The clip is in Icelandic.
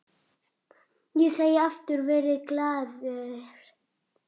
Ég segi aftur: Verið glaðir.